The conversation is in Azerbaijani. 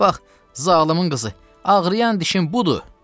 Bax, zalımın qızı, ağrıyan dişin budur.